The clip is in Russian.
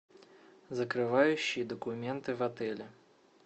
закрывающие документы в отеле